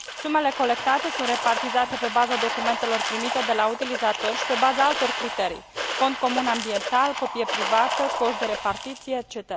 Sumele colectate sunt repartizate pe baza documentelor primite de la utilizatori și pe baza altor criterii fond comun, ambiental, copie privată, coș de repartiție etc.